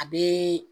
A bɛ